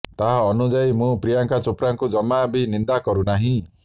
ତାଙ୍କ ଅନୁଯାୟୀ ମୁଁ ପ୍ରିୟଙ୍କା ଚୋପ୍ରାଙ୍କୁ ଜମା ବି ନିନ୍ଦା କରୁ ନାହିଁ